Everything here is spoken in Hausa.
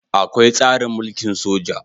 Akwai tsarin mulkin soja